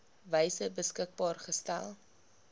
wyse beskikbaar gestel